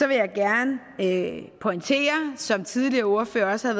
vil jeg gerne som tidligere ordførere også